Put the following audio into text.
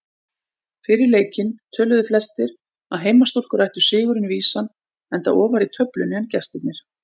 Fyrir leikinn töluðu flestir að heimastúlkur ættu sigurinn vísan enda ofar í töflunni en gestirnir.